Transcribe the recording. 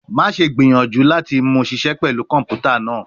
Maṣe gbiyanju lati mu ṣiṣẹ pẹlu kọnputa naa